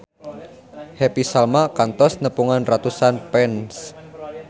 Happy Salma kantos nepungan ratusan fans